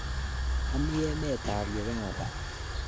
Ami emet ap Uganda.